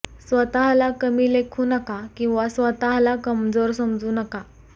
स्वतःला कमी लेखू नका किंवा स्वतःला कमजोर समजू नका